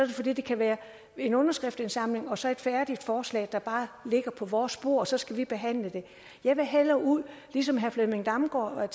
det fordi det kan være en underskriftindsamling og så et færdigt forslag der bare ligger på vores bord og så skal vi behandle det jeg vil hellere ud ligesom herre flemming damgaard